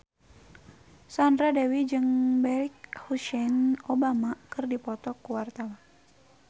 Sandra Dewi jeung Barack Hussein Obama keur dipoto ku wartawan